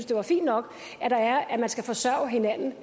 det er fint nok at man skal forsørge hinanden